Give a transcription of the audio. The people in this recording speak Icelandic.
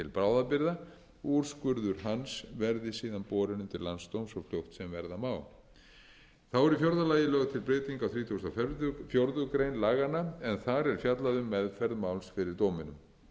bráðabirgða úrskurður hans verði síðan borinn undir landsdóm svo fljótt sem verða mál þá er í fjórða lagi lögð til breyting á þrítugasta og fjórðu grein laga en þar er fjallað um meðferð máls fyrir dóminum